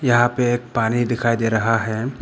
यहां पे एक पानी दिखाई दे रहा है।